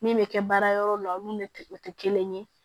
Min bɛ kɛ baara yɔrɔ la olu ne tɛ o tɛ kelen ye